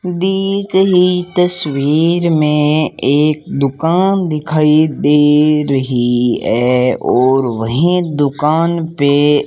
दी गई तस्वीर में एक दुकान दिखाई दे रही है और वहीं दुकान पे --